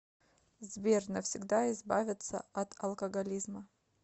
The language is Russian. сбер навсегда избавиться от алкоголизма